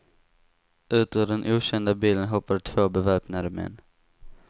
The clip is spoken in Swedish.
Ut ur den okända bilen hoppade två beväpnade män.